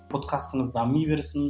подкастыңыз дами берсін